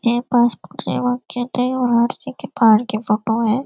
ये पासबुक सेवा केंद्र है पहाड़ की फोटो है।